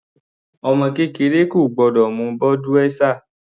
Ọmọ kékeré kò gbọ́dọ̀ mu Budweiser.